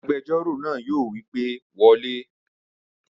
Agbẹjọ́rò náà yóò wí pé wọlé!